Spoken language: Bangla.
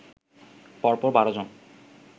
পরপর ১২ জন